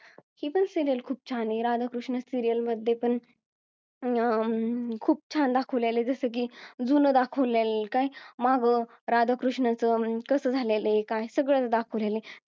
ही पण serial खूप छान आहे राधाकृष्ण serial मध्ये पण अं खूप छान दाखवलेलं आहे जसं की जून दाखवलेलं काय माघ राधाकृष्ण च कस झालेलं आहे काय सगळं दाखवलेलं आहे